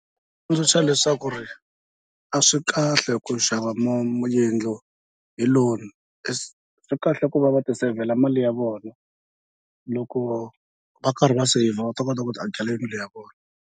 Ku leswaku ri a swi kahle ku xava yindlo hi loan swi kahle ku va va ti seyivhela mali ya vona loko va karhi va saver va ta kota ku ti akela yindlu ya vona.